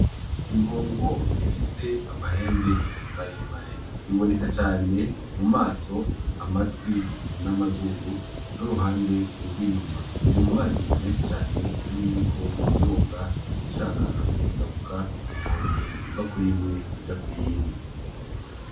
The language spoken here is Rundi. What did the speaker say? Impongo ifise amahembe maremare iboneka cane mumaso amatwi n,amazuru n,uruhande rwinyuma iri mumazi menshi cane iriko iroga ishaka kujabuka inkombe iva kuri imwe ija kuyindi.